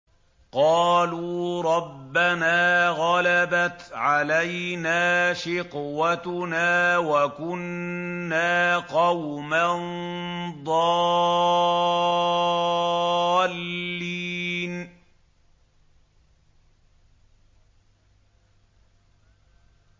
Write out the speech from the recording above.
قَالُوا رَبَّنَا غَلَبَتْ عَلَيْنَا شِقْوَتُنَا وَكُنَّا قَوْمًا ضَالِّينَ